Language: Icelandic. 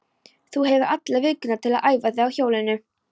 Þú hefur alla vikuna til að æfa þig á hjólinu.